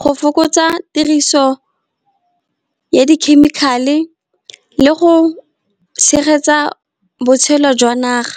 go fokotsa tiriso ya di-chemical-e, le go tshegetsa botshelo jwa naga.